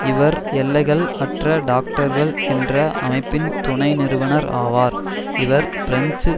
இவர் எல்லைகள் அற்ற டாக்டர்கள் என்ற அமைப்பின் துணை நிறுவனர் ஆவார் இவர் பிரெஞ்சு